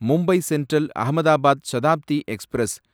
Mumbai central Ahmedabad Shatabdi express